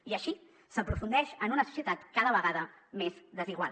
i així s’aprofundeix en una societat cada vegada més desigual